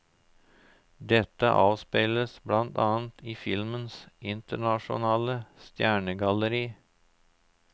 Dette avspeiles blant annet i filmens internasjonale stjernegalleri.